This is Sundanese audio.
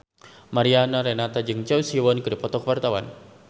Mariana Renata jeung Choi Siwon keur dipoto ku wartawan